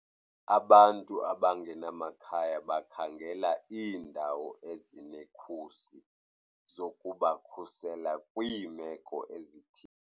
Abantu abangenamakhaya bakhangela iindawo ezinekhusi zokubakhusela kwiimeko ezithile.